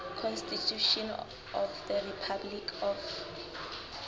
constitution of the republic of